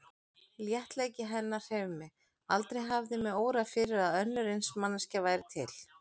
Léttleiki hennar hreif mig, aldrei hafði mig órað fyrir að önnur eins manneskja væri til.